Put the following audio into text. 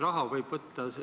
Raha võib välja võtta.